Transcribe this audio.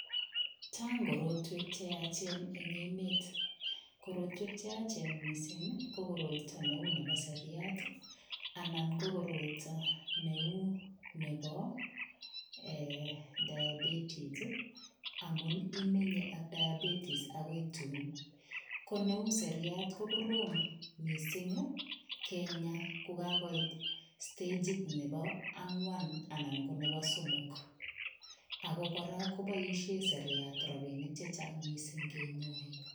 Chang korotwek che yachen eng emet. Korotwek che yachen mising ko koroito neu nebo seriat anan ko koroito neu nebo ee diabetis, amun imenye ak diabetis agoi tun. Ko neu seriat kokorom mising kenya ko kagoit stagit nebo angwan anan ko nebo somok. Ago kora koboisien seriat rapinik che chang mising kenyoi.